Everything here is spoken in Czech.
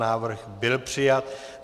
Návrh byl přijat.